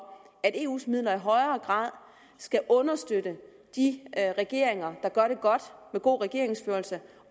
at eus midler i højere grad skal understøtte de regeringer der gør det godt med god regeringsførelse